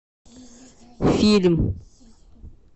фильм